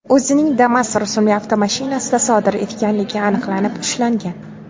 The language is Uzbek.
o‘zining Damas rusumli avtomashinasida sodir etganligi aniqlanib, ushlangan.